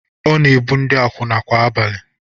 Ọ na-ebu ndị akwụna kwa abalị.